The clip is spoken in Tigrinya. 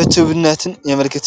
ዕቱብትነትን የመልክት።